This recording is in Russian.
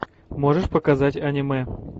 можешь показать аниме